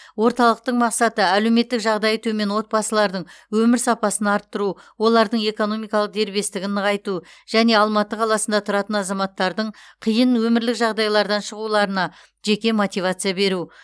орталықтың мақсаты әлеуметтік жағдайы төмен отбасылардың өмір сапасын арттыру олардың экономикалық дербестігін нығайту және алматы қаласында тұратын азаматтардың қиын өмірлік жағдайлардан шығуларына жеке мотивация беру